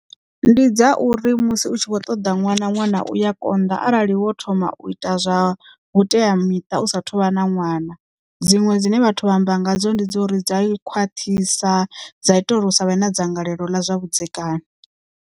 Ndi dza uri musi u tshi vho ṱoḓa ṅwana, ṅwana u ya konḓa arali wo thoma u ita zwa vhuteamiṱa u sa thuvha na ṅwana dziṅwe dzine vhathu vha amba ngadzo ndi dza uri dzi a khwaṱhisa dza ita uri usa vhe na dzangalelo ḽa zwa vhudzekani.